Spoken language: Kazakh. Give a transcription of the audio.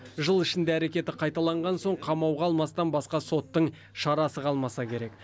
жыл ішінде әрекеті қайталанған соң қамауға алмастан басқа соттың шарасы қалмаса керек